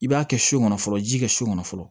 I b'a kɛ so kɔnɔ fɔlɔ ji kɛ so kɔnɔ fɔlɔ